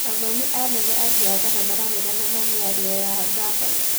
Athomi anene a mbiathara mararegana na mĩario ya ngabana